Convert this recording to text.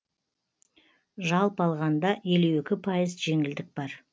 жалпы алғанда елу екі пайыз жеңілдік бар